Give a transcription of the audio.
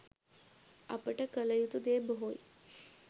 අපට කල යුතු දේ බොහෝයි